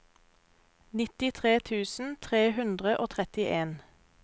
nittitre tusen tre hundre og trettien